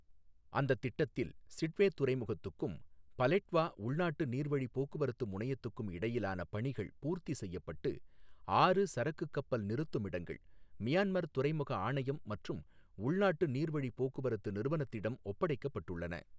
அந்தத் திட்டத்தில் சிட்வே துறைமுகத்துக்கும் பலெட்வா உள்நாட்டு நீர்வழி போக்குவரத்து முனையத்துக்கும் இடையிலான பணிகள் பூர்த்தி செய்யப்பட்டு, ஆறு சரக்கு கப்பல் நிறுத்துமிடங்கள் மியான்மர் துறைமுக ஆணையம் மற்றும் உள்நாட்டு நீர்வழி போக்குவரத்து நிறுவனத்திடம் ஒப்படைக்கப் பட்டுள்ளன.